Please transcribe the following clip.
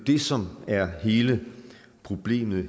det som er hele problemet